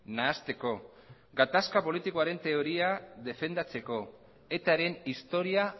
nahasteko gatazka politikoaren teoria defendatzeko etaren historia